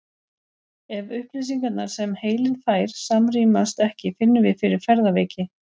Ef upplýsingarnar sem heilinn fær samrýmast ekki finnum við fyrir ferðaveiki.